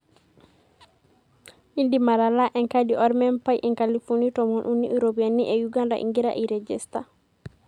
Indiim atalaa enkadi ormembai inkalifuni tomon uni iropiyiani e Uganda ingira airegesta.